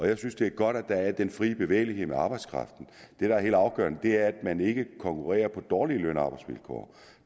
jeg synes det er godt at der er den frie bevægelighed i arbejdskraften det der er helt afgørende er at man ikke konkurrerer på dårlige løn og arbejdsvilkår